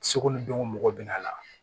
Seko ni dɔnko mɔgɔ bɛ na